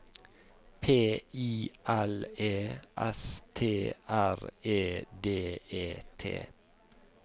P I L E S T R E D E T